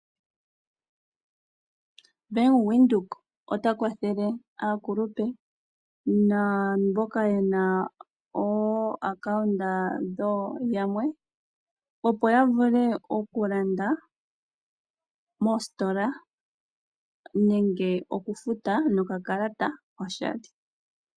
Bank Windhoek ota kwathele aakulupe naamboka yena ooacount dho yamwe opo ya vule okulanda moositola nenge okufuta nokakalata oshali.